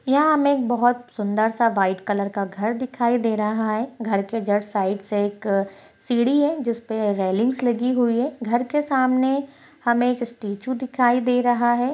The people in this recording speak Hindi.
यहां हमे एक बहुत सुंदर सा व्हाइट कलर का घर दिखाई दे रहा है घर के जस्ट साइड से एक सीढ़ी है जिसपे रेलिंग्स लगी हुई है घर के सामने हमे एक स्टेचु दिखाई दे रहा है।